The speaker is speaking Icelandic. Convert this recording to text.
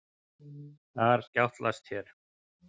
Þar skjátlast þér.